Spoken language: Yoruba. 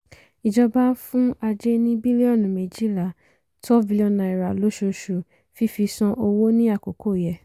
ìjọba ń fún ajé ní bílíọ̀nù méjìlá twelve billion naira lóṣooṣù fífi san owó ní àkókò yẹ.